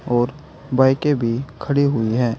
और बाईकें भी खड़ी हुई हैं।